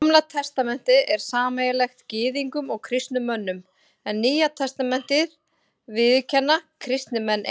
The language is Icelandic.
Gamla testamentið er sameiginlegt Gyðingum og kristnum mönnum, en Nýja testamentið viðurkenna kristnir menn einir.